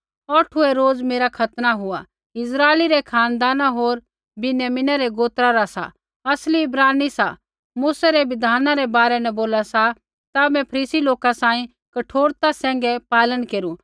औठुऐ रोज मेरा खतना हुआ इस्राइला रै खानदाना होर विन्यामिना रै गोत्रा रा सा असली इब्रानी सा मूसै री बिधाना रै बारै न बोला ता मैं फरीसी लोका सांही कठोरता सैंघै पालन केरू